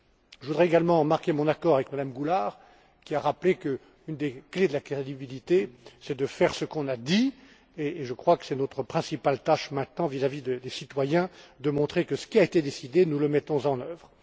Je voudrais également marquer mon accord avec Mme Goulard, qui a rappelé qu'une des clés de la crédibilité est de faire ce que l'on a dit et je crois que notre tâche principale maintenant vis à vis des citoyens est de montrer que ce qui a été décidé, nous le mettons en